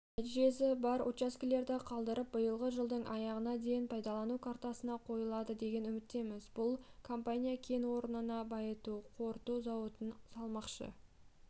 нәтижесі бар учаскелерді қалдырып биылғы жылдың аяғына дейін пайдалану картасына қойылады деген үміттеміз бұл компания кен орнына байыту қорыту зауытын салмақшы